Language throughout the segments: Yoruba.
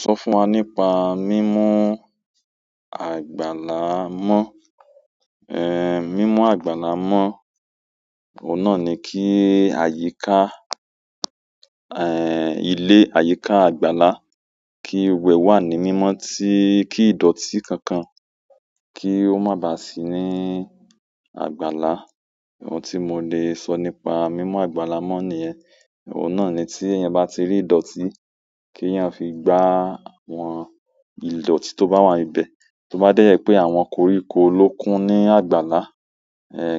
So fún wa nípa mimu àgbàlá mo. Mimu àgbàlá mo, oun náà ni ki àyíká ilé, àyíká, àgbàlá, kí gbogbo ẹ̀ wà ní mímọ́, tí kí ìdọ̀tí kankan kí ó má bà sí ní àgbàlá. Ohun tí mo le sọ nípa mímú àgbàlá mọ́ nìyẹn. Oun náà ni ti eeyan ba ti ri idoti, ki eeyan fi gba àwọn idoti ti o ba wa ni be. Tó bá déẹ̀ jẹ pé àwọn koríko ló kún ní àgbàlá,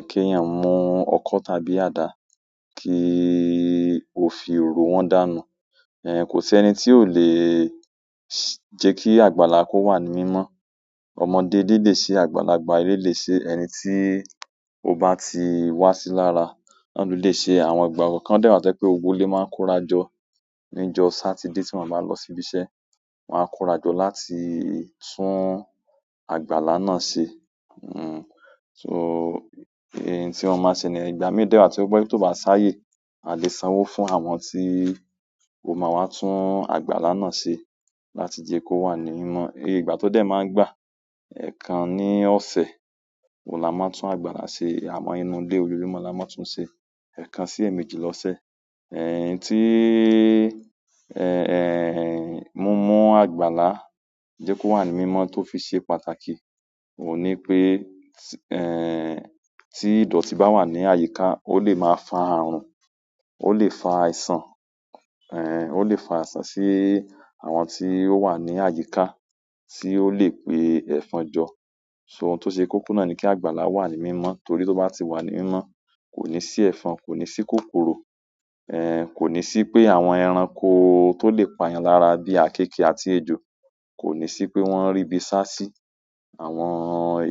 kí èèyàn mú ọkọ́ tàbí àdá kí ó fi rò wọn dànù. Kò sí ẹni tí ò le jẹ́ kí àgbàlá kó wà ní mímọ́. Ọmọdé ilé lé ṣe, àgbàlagbà ilé le ṣe, ẹni tí ó bá ti wá sí lára, náà ló lè ṣe. Àwọn ìgbà kọkàn dé wàá tí o je pé gbogbó ilé máa ń kórajọ ní ìjọ́ Sátidé tí wọ́n o bá lọ síbí iṣẹ́. Wọn á kórajọ láti tún àgbàlá náà ṣe. So ohun tí wọ́n máa ṣe ni yen. Ìgbà mí dẹ́ wá tí ó je pe tí ó bá ṣáyé, a lè sanwó fún àwọn tí ó máa wá tún àgbàlá náà ṣe láti jẹ́ kó wà ní mímọ́. Èyè ìgbà tó dẹ̀ máa ń gbà. Ẹ̀kan ní ọ̀sẹ̀ oun la máa n tún àgbàlá ṣe, àmọ inú ilé ojójùmo la máa n tún ṣe, ẹ̀kan sí èmejì lọ́sẹ̀. Ti mimú àgbàlá jẹ́ kó wà ní mímọ́ tó fi ṣe pàtàkì, òun ní pé, tí ìdọ̀tí bá wà ní àyíká, ó lè máa fa àrùn, ó lè fa àìsàn, ó lè fa àìsàn sí àwọn tí ó wà ní àyíká tí ó lè pé ẹ̀fọn jọ. So ohun tó ṣe kókó náà ni kí àgbàlá wà ní mímọ́ torí tí ó bá ti wà ní mímọ́, kò ní sí ẹ̀fọn, kò ní sí kòkòrò, ekò ní sí pé àwọn ẹranko tó lè pa èèyàn lára bíi akẹ́kẹ̀ẹ́ àti ejò, kò ní sí pé wọ́n rí ibi sá sí. Àwọn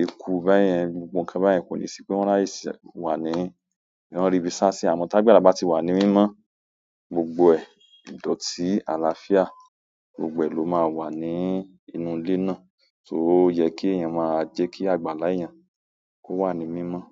eku bẹ́yẹn, gbogbo ǹkan bẹ́yẹn kò ní sí pé wọ́n rá ye wà ní, wọ́n rí ibi sá sí. Àmọ́ tí àgbàlá bá ti wà ní mímọ́, gbogbo ẹ̀, ìdọ̀tí àlàáfíà gbogbo ẹ̀ ló máa wà ní inú ilé náà. So ó yẹ kí èèyàn máa jẹ́ kí àgbàlá èèyàn kó wà ní mímọ́.